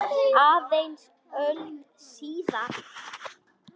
Aðeins öld síðar.